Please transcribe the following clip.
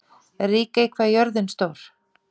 Ríkey, hvað er jörðin stór?